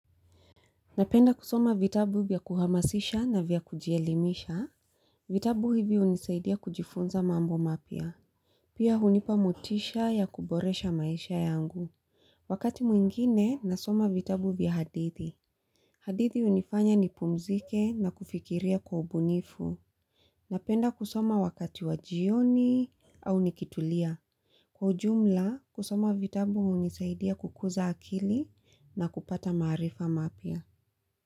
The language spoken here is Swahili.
Napenda kusoma vitabu vya kuhamasisha na vya kujielimisha. Vitabu hivi unisaidia kujifunza mambo mapia. Pia hunipa motisha ya kuboresha maisha yangu. Wakati mwingine nasoma vitabu vya hadithi. Hadithi hunifanya nipumzike na kufikiria kwa ubunifu. Napenda kusoma wakati wa jioni au nikitulia. Kwa ujumla kusoma vitabu hunisaidia kukuza akili na kupata maarifa mapya.